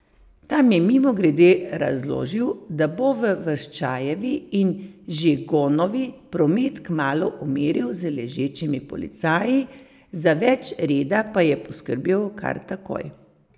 Tam je mimogrede razložil, da bo v Vrščajevi in Žigonovi promet kmalu umiril z ležečimi policaji, za več reda pa je poskrbel kar takoj.